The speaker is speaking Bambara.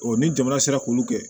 ni jamana sera k'olu kɛ